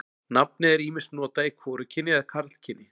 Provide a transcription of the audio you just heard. Nafnið er ýmist notað í hvorugkyni eða karlkyni.